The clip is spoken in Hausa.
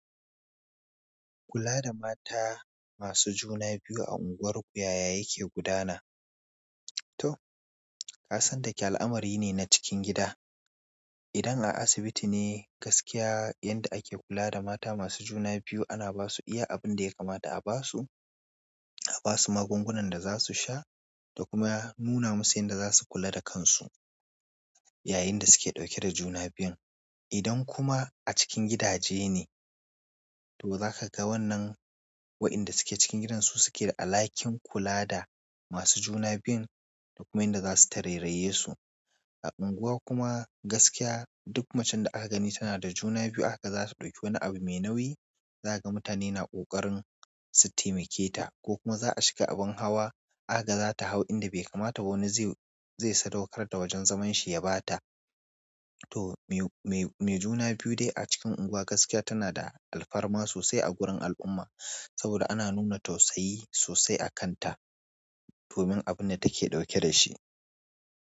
Kula da mata masu juna biyu a unguwarku yaya yake gudana. To, kasan dake al'amari ne na cikin gida. Idan a asibiti ne gaskiya yanda ake kula da mata masu juna biyu ana basu iya abin da ya kamata a basu, a basu magungunan da za su sha da kuma nuna musu yanda za su kula da kansu yayin da suke ɗauke da juna biyun. Idan kuma a cikin gidaje ne, to zaka ga wannan waƴanda suke cikin gidansu suke da alhakin kula da masu juna biyun da kuma yanda za su tareraye su. A unguwa kumaz gaskiya duk macen da aka gani tana da juna biyu akaga za ta ɗauki wani abu me nauyi, zaga mutane na ƙoƙarin su taimake ta ko kuma za a shiga abin hawa akaga zata hau inda bai kamata, wani zai, zai sadaukar da wajan zaman shi ya ɓata. To me, me, me juna biyu dai a cikin unguwa gaskiya tana da alfarma sosai a gurin al'umma saboda ana nuna tausayi sosai a kanta, fomin abunda take ɗauke da shi.